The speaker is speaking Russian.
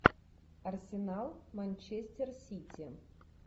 арсенал манчестер сити